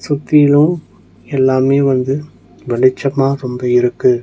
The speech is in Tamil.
சுத்திலு எல்லாமே வந்து வெளிச்சமா ரொம்ப இருக்கு.